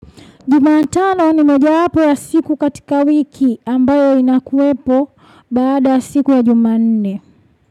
Jumatano ni mojawapo ya siku katika wiki ambayo inakuwepo baada siku ya jumanne.